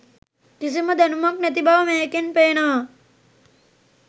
කිසිම දැනුමක් නැතිබව මේකෙන් පේනවා.